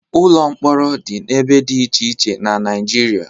Ụlọ mkpọrọ dị n'ebe dị iche iche na Naịjirịa.